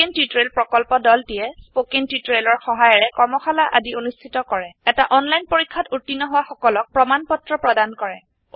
spoken tutorial প্ৰকল্পৰ দলটিয়ে spoken টিওটৰিয়েলৰ সহায়েৰে কৰ্মশালা আদি অনুষ্ঠিত কৰে এটা অনলাইন পৰীক্ষাত উত্তীৰ্ণ হোৱা সকলক প্ৰমাণ পত্ৰ প্ৰদান কৰে